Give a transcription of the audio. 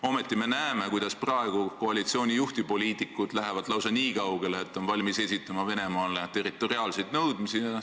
Ometi me näeme, kuidas praegu koalitsiooni juhtpoliitikud lähevad lausa nii kaugele, et on valmis esitama Venemaale territoriaalseid nõudmisi.